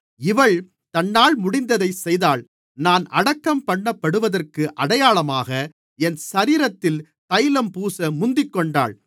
இவள் தன்னால் முடிந்ததைச் செய்தாள் நான் அடக்கம்பண்ணப்படுவதற்கு அடையாளமாக என் சரீரத்தில் தைலம் பூச முந்திக்கொண்டாள்